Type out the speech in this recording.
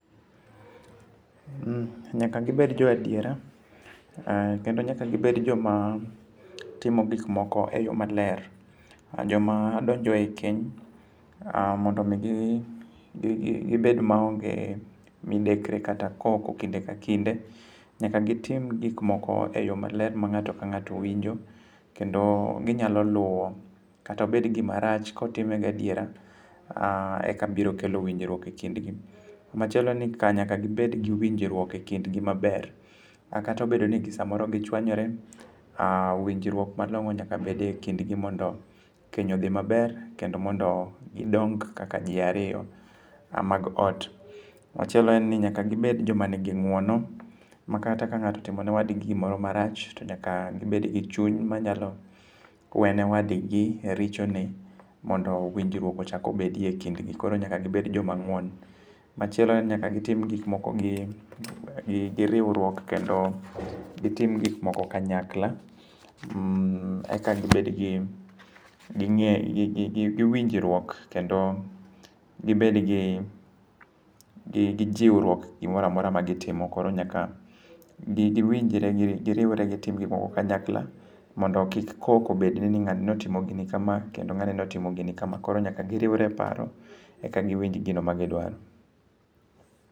Nyaka gibed jo adiera. Kendo nyaka gibed joma timo gik moko e yo maler. Jomadonjo ei keny ,mondo omi gibed maonge midekre kata koko kinde ka kinde, nyaka gitim gikmoko e yo maler ma ng'ato ka ng'ato winjo, kendo ginyalo luwo, kata obed gimarach, kotime gi adiera eka biro kelo winjruok e kindgi. Machielo ni nyaka gibed gi winjruok e kindgi maber. Kata obedo ni ji samoro ji chwanyore, winjruok malong'o nyaka bedie e kindgi mondo keny odhi maber kendo mondo gidong kaka ji ariyo mag ot. Machielo en ni nyaka gibed joma nigi ng'wono, ma kata ka ng'ato otimo ne wadgi gimarach, to nyaka gibed gi chuny ma nyalo wene wadgi e richone, mondo winjruok echak obedie e kindgi. Koro nyaka gibed joma ng'won. Machielo en ni nyaka gitim gikmoko giriwruok kendo gitim gik moko kanyakla, eka gibed gi winjruok kendo gibed gi jiwruok i gimora mora magitimo. Koro nyaka giwinjre, giriwre gitim gikmoko kanyakla mondo kik koko bedi ni ng'ani notimo gini kama, kendo ng'ani notimo gini kama. Koro nyaka giriwre e paro e ka giwinj gino ma gidwaro.